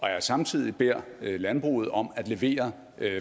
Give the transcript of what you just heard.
jeg samtidig beder landbruget om at levere